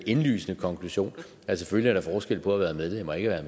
indlysende konklusion at selvfølgelig er der forskel på at være medlem og ikke at